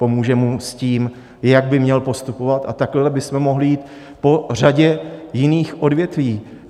Pomůže mu s tím, jak by měl postupovat, a takhle bychom mohli jít po řadě jiných odvětví.